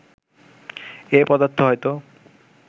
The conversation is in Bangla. এ পদার্থ হয়তো